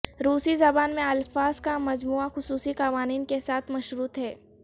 روسی زبان میں الفاظ کا مجموعہ خصوصی قوانین کے ساتھ مشروط ہے